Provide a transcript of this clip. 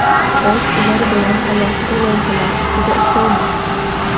Biz ular bilan alohida loyihalar ustida ishlaymiz.